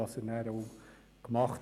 Das hat er denn auch getan.